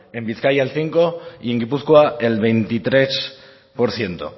en bizkaia el cinco por ciento y en gipuzkoa el veintitrés por ciento